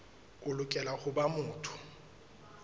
o lokela ho ba motho